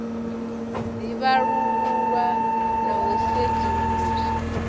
ḓi vhalululwa na u sedzuluswa